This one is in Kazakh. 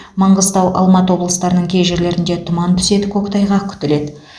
маңғыстау алматы облыстарының кей жерлерінде тұман түседі көктайғақ күтіледі